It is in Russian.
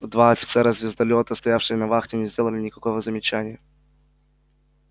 два офицера звездолёта стоявшие на вахте не сделали никакого замечания